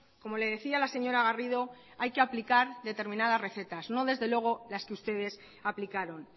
como le decía la señora garrido hay que aplicar determinadas recetas no desde luego las que ustedes aplicaron